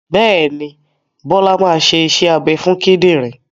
Bẹ́ẹ̀ ni, Bọ́lá máa ṣe iṣẹ́ abẹ fún kìdìrí.